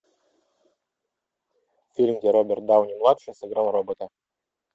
фильм где роберт дауни младший сыграл робота